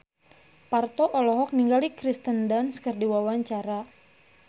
Parto olohok ningali Kirsten Dunst keur diwawancara